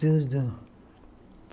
Tudo.